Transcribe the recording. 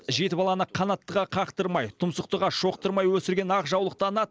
жеті баланы қанаттыға қақтырмай тұмсықтыға шоқтырмай өсірген ақжаулықты ана